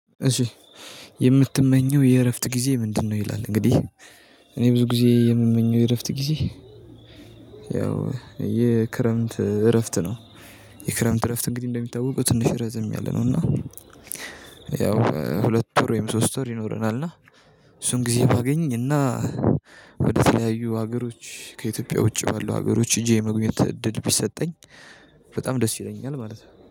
እሺ የምትመኘው የእረፍት ጊዜ ምንድነው? ይላል እንግዲህ እኔ ብዙ ጊዜ የምመኘው የእረፍት ጊዜ ያው የክረምት እረፍት ነው። የክረምት እረፍት እንግዲህ እንደሚታወቀው ትንሽ ረዘም ያለ ነው እና ያው ሁለት ወር ወይም ሶስት ወር ይኖረናል። እና እሱን ጊዜ ባገኝ እና ወደ ተለያዩ ሀገሮች ከኢትዮጵያ ውጪ ባለው ሀገሮች ሄጄ የመጎብኘት እድል ቢሰጠኝ በጣም ደስ ይለኛል። ማለት ነው